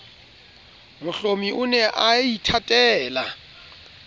mohlomi o ne a ithatela